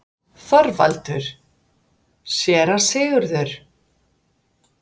ÞORVALDUR: Séra Sigurður!